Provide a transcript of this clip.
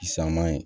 San ma yen